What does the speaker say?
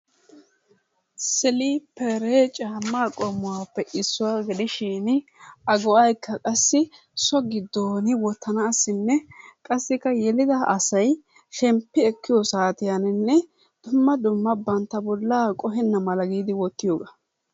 Siliperee caamma qomuwappe isuwaa gidishin,a go'ay qassi soo gidonni wottanassinne, qassikkaa yelidaa asay shemppi ekiyosatiyaninne duma duma banttaa bollaa qohenadanni wotiyogaa.